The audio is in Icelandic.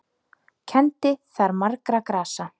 Kenndi þar margra grasa.